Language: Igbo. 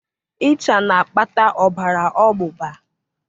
ịcha na-akpata ọbara ọgbụgba